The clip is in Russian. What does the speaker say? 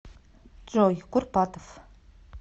джой курпатов